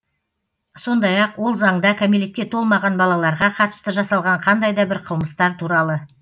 сондай ақ ол заңда кәмелетке толмаған балаларға қатысты жасалған қандай да бір қылмыстар туралы